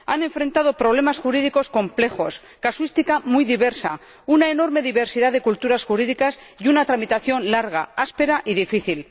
Han enfrentado problemas jurídicos complejos, casuística muy diversa, una enorme diversidad de culturas jurídicas y una tramitación larga, áspera y difícil.